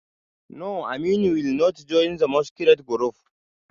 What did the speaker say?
No, Aminu will not join the masquerade group